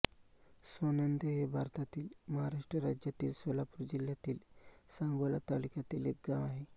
सोनंद हे भारतातील महाराष्ट्र राज्यातील सोलापूर जिल्ह्यातील सांगोला तालुक्यातील एक गाव आहे